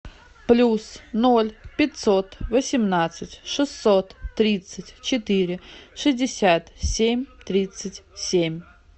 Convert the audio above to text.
плюс ноль пятьсот восемнадцать шестьсот тридцать четыре шестьдесят семь тридцать семь